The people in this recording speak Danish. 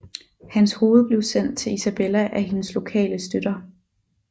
Hans hoved blev sendt til Isabella af hendes lokale støtter